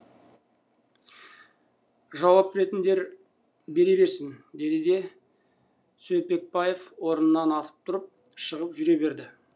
жауап беретіндер бере берсін деді де сөлпекбаев орнынан атып тұрып шығып жүре берді